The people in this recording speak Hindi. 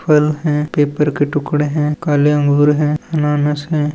फल है पेपर के टुकड़े है काले अंगूर है अनानास है।